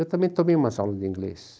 Eu também tomei umas aulas de inglês.